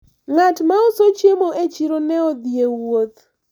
ng'at mauso chiemo e chiro ne odhi e wuoth